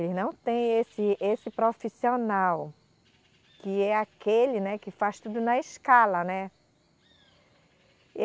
Eles não têm esse, esse profissional, que é aquele, né que faz tudo na escala, né.